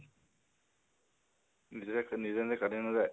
নিজে নিজে কাটি নাজায়?